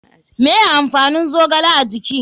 Me amfanin zogale a jiki?